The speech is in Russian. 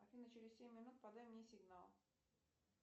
афина через семь минут подай мне сигнал